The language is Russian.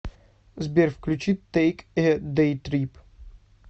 сбер включи тэйк э дэйтрип